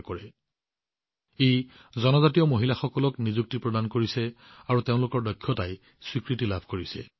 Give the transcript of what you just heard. ইয়াৰ দ্বাৰা জনজাতীয় মহিলাসকললে নিযুক্তি লাভ কৰিছে আৰু তেওঁলোকৰ প্ৰতিভায়েও স্বীকৃতি লাভ কৰিছে